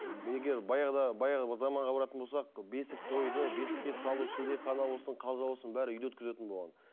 егер баяғыда баяғы заманға баратын болсақ бесік тойды бесікке салу шілдехана болсын қалжа болсын бәрі үйде өткізетін болған